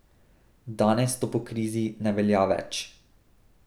Danes to po krizi ne velja več.